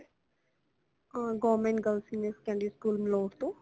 uh got girls senior secondary school ਮਲੋਰਤੋਂ